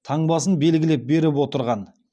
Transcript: таңбасын белгілеп беріп отырған